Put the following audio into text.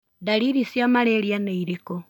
Ndariri cia malaria nĩ irĩkũ?